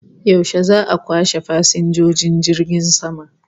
Yaushe za'a kwashe fasinjojin jirgin sama?